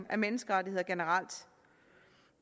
af menneskerettigheder generelt